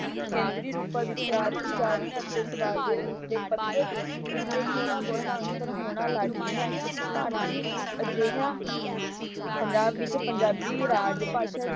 ਕੇਂਦਰੀ ਰੂਪਾਂ ਵਿੱਚਕਾਰ ਉਚਾਰਨ ਅਤੇ ਸਬਦਾਵਲੀ ਦੇ ਪੱਧਰ ਉੱਤੇ ਥੋੜਾ ਬਹੁਤ ਅੰਤਰ ਹੋਣਾ ਲਾਜ਼ਮੀ ਹੈ। ਭਾਰਤੀ ਅਜਿਹਾ ਪੰਜਾਬ ਵਿੱਚ ਪੰਜਾਬੀ ਰਾਜ ਭਾਸ਼ਾ ਹੀ